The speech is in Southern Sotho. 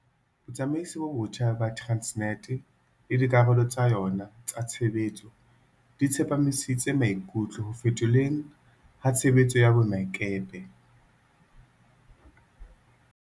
Botsamaisi bo botjha ba Tran snet le dikarolo tsa yona tsa tshebetso di tsepamisitse maikutlo ho fetolweng ha tshebetso ya boemakepe.